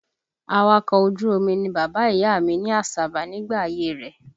Awakọ̀ ojú omi ni bàbá ìyá mi ní Àsàbà nígbà ayé rẹ̀